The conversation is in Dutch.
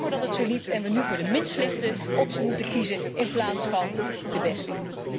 Jammer dat het zo liep en wij nu voor de minst slechte optie moeten kiezen in plaats van de beste.